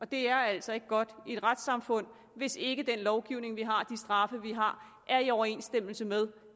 det er altså ikke godt i et retssamfund hvis ikke den lovgivning vi har og straffe vi har er i overensstemmelse med